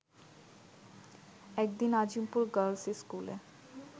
এক দিন আজিমপুর গার্লস স্কুলে